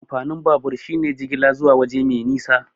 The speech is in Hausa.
Amfanin babur shine jigila zuwa waje mai nisa.